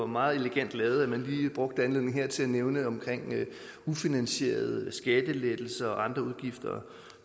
meget elegant lige brugte anledningen her til at nævne ufinansierede skattelettelser og andre udgifter